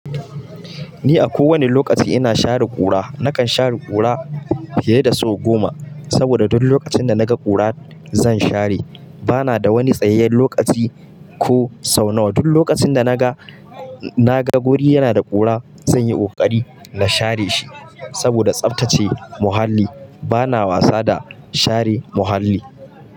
Ni a kowane lokaci ina share ƙura. Nakan share ƙura fiye da sau goma, saboda duk lokacin da naga ƙura zan share. Bana da wani tsayayyen lokaci ko sau nawa. Duk lokacin da naga, naga guri yana da ƙura zan yi ƙoƙari na share shi. Saboda tsafta ce muhalli. Bana wasa da share muhalli.